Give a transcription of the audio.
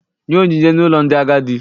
Nye onyinye n'ụlọ ndị agadi.